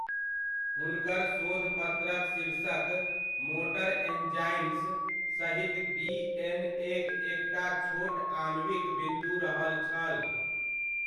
हुनकर शोधपत्रक शीर्षक मोटर एन्जाइम्स सहित डिएनएक एकटा छोट आणविक बिन्दु रहल छल।